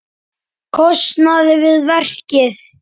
kostnað við verkið.